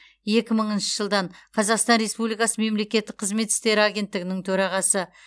екі мыңыншы жылдан қазақстан республикасы мемлекеттік қызмет істері агенттігінің төрағасы